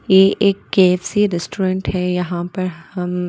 ये एक KFC restaurant है यहाँ पर हम--